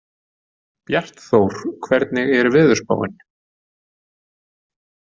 Bjartþór, hvernig er veðurspáin?